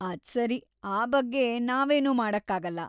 ಅದ್ಸರಿ, ಆ ಬಗ್ಗೆ ನಾವೇನೂ ಮಾಡಕ್ಕಾಗಲ್ಲ.